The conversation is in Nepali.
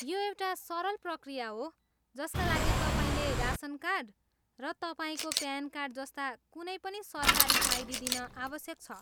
यो एउटा सरल प्रक्रिया हो जसका लागि तपाईँले रासन कार्ड, र तपाईँको प्यान कार्ड जस्ता कुनै पनि सरकारी आइडी दिन आवश्यक छ।